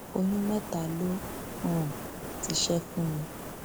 oyún mẹta ló um ti ṣe fún mi